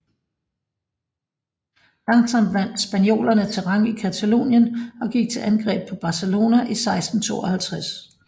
Langsomt vandt spaniolerne terræn i Catalonien og gik til angreb på Barcelona i 1652